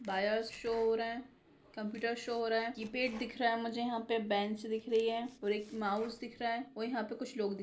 बायस सो हो रहा है कोम्प्यूटर सो हो रहा है कीपैड दिख रहा है मुझे यहां पे बेंच दिख रही है और एक माउस दिख रहा है और यहां पे कुछ लोग दिख --